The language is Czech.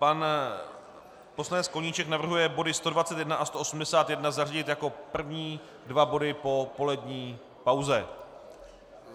Pan poslanec Koníček navrhuje body 121 a 181 zařadit jako první dva body po polední pauze.